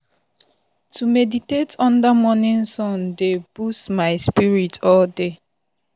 to meditate under morning sun dey boost my spirit all day.